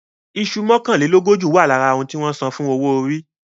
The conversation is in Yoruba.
Iṣu mọ́kànlélógójì wà lára ohun tí wọ́n san fún owó orí.